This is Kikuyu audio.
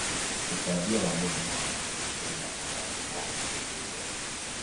Utambia wa mũrimũ wa mũkingo Kenya ũrathie o ũnyihĩte.